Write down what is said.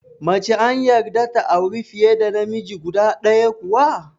Mace an yarda ta auri fiye da namiji guda ɗaya kuwa?